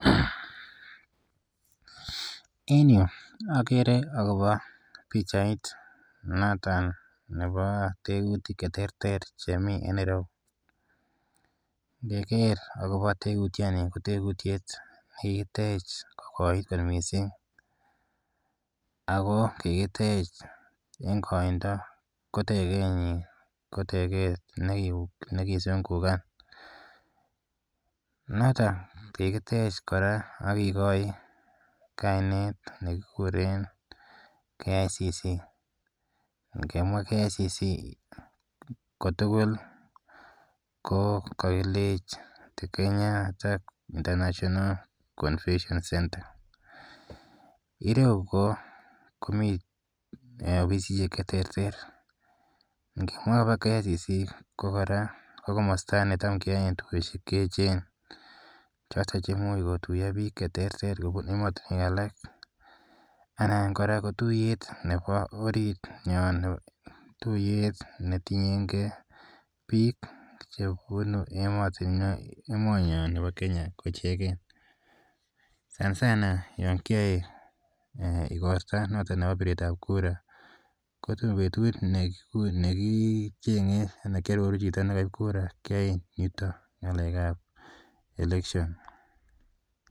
En yu akere akopa pichait noton nepo kerutik che terter chemi en Nairobi. Ngeker akopa tekutiani ko tekutiet ne kikitech kokoit kot missing' ako kikitech eng' koindo. Ko teketnyi ko tekeet ne kizungukan notok kikitech kora ak kikachi kainet ne kikuren KICC. Ngemwa KICC ko tugul ko kakile Kenyatta International Confession Center. Eng' yu komi ofisishek che terter. Ngimwae akopa KICC kora ko komasta ne tam kindoi dukoshek che echen. Chotok che imuch kotuya piik che terter kopun ematunwek alak. Kora ko tuyet nepo orit nyon, tuyet ne tiyengei pik che punu emanyon nepo Kenya ichegei. Sanasan yan kiae igorta notok nepo piret ap kura ko tam petut ne kicheng'e ne kiaroru chito nepo kura keaen yutok ng'alek ap election.